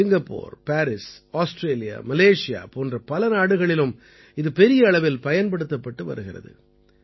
Singapore Paris Australia Malaysia போன்ற பல நாடுகளிலும் இது பெரிய அளவில் பயன்படுத்தப்பட்டு வருகிறது